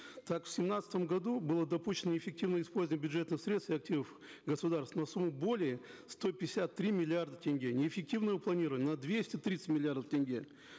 так в семнадцатом году было допущено неэффективное использование бюджетных средств и активов государства на сумму более сто пятьдесят три миллиарда тенге неэффективного планирования на двести тридцать миллиардов тенге